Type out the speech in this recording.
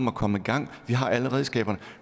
at komme i gang vi har alle redskaberne